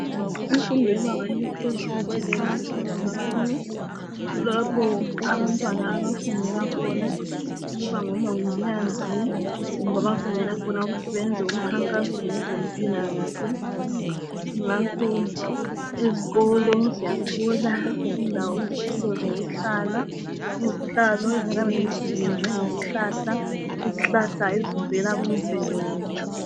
Imfundo yebanga eliphezulu iqakathekile kakhulu kulapho abantwana abafundela khona ukuba ngomongikazi kumbe abafundela khona ukuthi beyenze umkhankaso ngezempilakahle ngakho ezikolo siyathola izitulo zokuhlala izihlalo ezinye ziyabe zenziwe ngezihlahla ezivela kumvelo yethu.